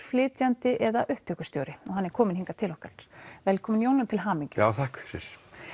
flytjandi eða upptökustjóri hann er kominn hingað til okkar velkominn Jón og til hamingju takk fyrir